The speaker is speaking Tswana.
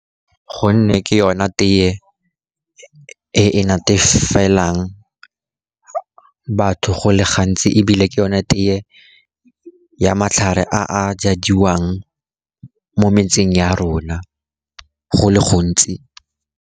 Gonne ke yona tee e natatefelang batho go le gantsi, ebile ke yone tee ya matlhare a jadiwang mo metseng ya rona go le gontsi.